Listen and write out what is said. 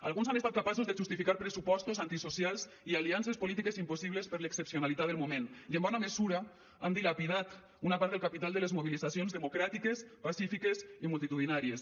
alguns han estat capaços de justificar pressupostos antisocials i aliances polítiques impossibles per l’excepcionalitat del moment i en bona mesura han dilapidat una part del capital de les mobilitzacions democràtiques pacífiques i multitudinàries